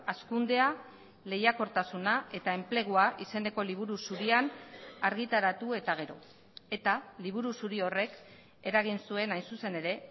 hazkundea lehiakortasuna eta enplegua izeneko liburu zurian argitaratu eta gero eta liburu zuri horrek eragin zuen hain zuzen ere